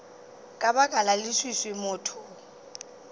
ka baka la leswiswi motho